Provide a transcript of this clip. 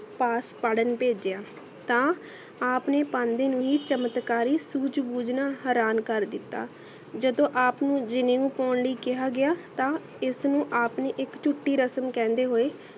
ਪਾਸ ਪੜਣ ਪੇਜਿਯਾ ਤਾ ਆਪ ਨੇ ਪੈਂਦੀ ਨੂ ਹੀ ਚਮਤਕਾਰੀ ਸੂਜ ਬੂਜ੍ਨਾ ਹਾਰਨ ਕਰ ਦਿਤਾ ਜਦੋ ਆਪ ਨੂ ਪੌਣ ਲੇਇ ਕਿਹਾ ਗਯਾ ਤਾ ਇਸ ਨੂ ਆਪ ਨੇ ਇਕ ਚੂਥੀ ਰਸਮ ਕਹਿੰਦੇ ਹੋਯ